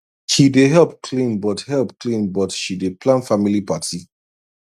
he dey help clean but help clean but she dey plan family party